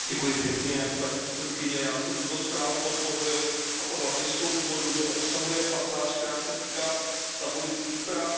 Paní předsedající, já jsem tuto zprávu podpořil, a to hlavně z toho důvodu, že obsahuje pasáž, která se týká stavu lidských práv v Číně.